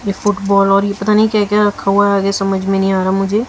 ये फुटबॉल और ये पता नहीं क्या क्या रखा हुआ हैं? आगे समझ में नहीं आ रहा मुझे।